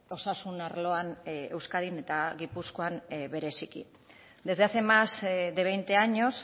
osasun arloan euskadin eta gipuzkoan bereziki desde hace más de veinte años